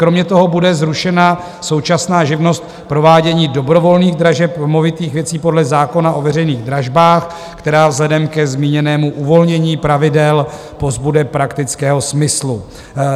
Kromě toho bude zrušena současná živnost provádění dobrovolných dražeb u movitých věcí podle zákona o veřejných dražbách, která vzhledem k zmíněnému uvolnění pravidel pozbude praktického smyslu.